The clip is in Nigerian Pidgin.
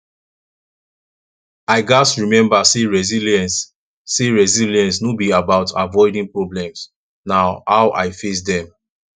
i gats remember say resilience say resilience no be about avoiding problems na how i face dem